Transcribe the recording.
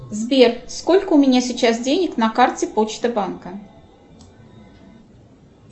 сбер сколько у меня сейчас денег на карте почта банка